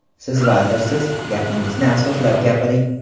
Siz vazirsiz, gapingizni asoslab gapiring.